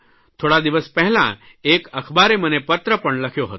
થોડા દિવસ પહેલાં એક અખબારે મને પત્ર પણ લખ્યો હતો